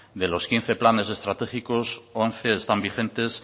de los quince planes estratégicos once están vigentes